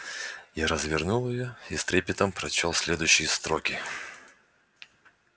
я развернул её и с трепетом прочёл следующие строки